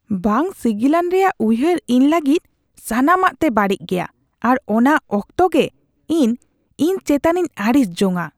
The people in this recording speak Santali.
ᱵᱟᱝ ᱥᱤᱜᱤᱞᱟᱱ ᱨᱮᱭᱟᱜ ᱩᱭᱦᱟᱹᱨ ᱤᱧ ᱞᱟᱹᱜᱤᱫ ᱥᱟᱱᱟᱢᱟᱜ ᱛᱮ ᱵᱟᱹᱲᱤᱡ ᱜᱮᱭᱟ ᱟᱨ ᱚᱱᱟ ᱚᱠᱛᱮ ᱜᱮ ᱤᱧ ᱤᱧ ᱪᱮᱛᱟᱱᱤᱧ ᱟᱹᱲᱤᱥ ᱡᱚᱝᱼᱟ ᱾